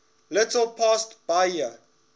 little past bahia